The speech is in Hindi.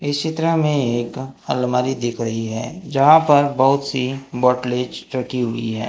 इस चित्रा में एक अलमारी दिख रही है जहां पर बहुत सी बोटलेज रखी हुई है।